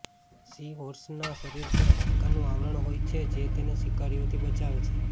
C હોર્સના શરીર પર હાડકાંનું આવરણ હોય છે જે તેને શિકારીઓથી બચાવે છે